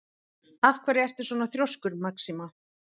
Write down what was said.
Af hverju ertu svona þrjóskur, Maxima?